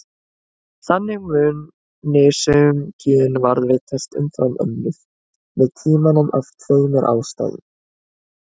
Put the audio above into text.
Þannig muni sum gen varðveitast umfram önnur með tímanum af tveimur ástæðum.